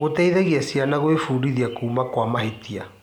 Gũteithagia ciana gwĩbundithia kuuma kwa mahĩtia.